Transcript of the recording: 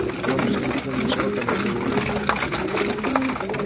и он уже не видел ничего кроме этой улыбки